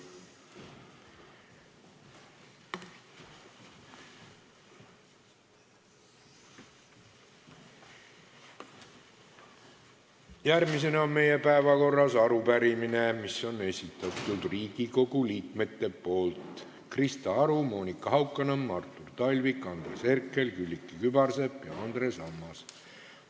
Järgmisena on meie päevakorras arupärimine, mille on esitanud Riigikogu liikmed Krista Aru, Monika Haukanõmm, Artur Talvik, Andres Herkel, Külliki Kübarsepp ja Andres Ammas.